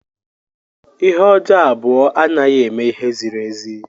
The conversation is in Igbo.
Ihe ọjọọ abụọ anaghị eme ihe ziri ezi.